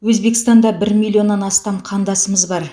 өзбекстанда бір миллионнан астам қандасымыз бар